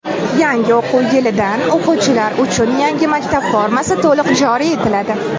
Yangi o‘quv yilidan o‘quvchilar uchun yangi maktab formasi to‘liq joriy etiladi.